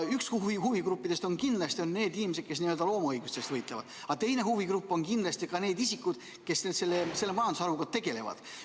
Üks huvigrupp on kindlasti need inimesed, kes n-ö loomaõiguste eest võitlevad, aga teine huvigrupp on need isikud, kes selle majandusharuga tegelevad.